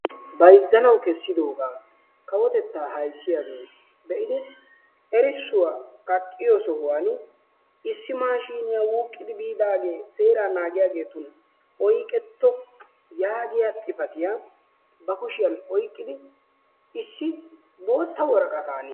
Bayzzanawu kessidoogaa kawotettaa ayssiyagee be'idi erissuwa kaqqiyo sohuwan issi maashiiniya wuuqettidaagee seeraa naagiyageetun oyqetto yaagiya xifatiya ba kushiyan oyqqidi issi bootta woraqataan,,,